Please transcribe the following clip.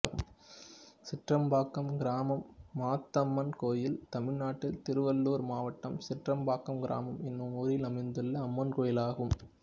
சிற்றம்பாக்கம் கிராமம் மாத்தம்மன் கோயில் தமிழ்நாட்டில் திருவள்ளூர் மாவட்டம் சிற்றம்பாக்கம் கிராமம் என்னும் ஊரில் அமைந்துள்ள அம்மன் கோயிலாகும்